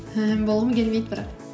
ііі болғым келмейді бірақ